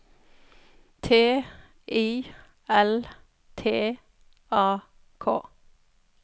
T I L T A K